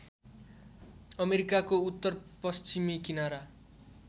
अमेरिकाको उत्तरपश्चिमी किनारा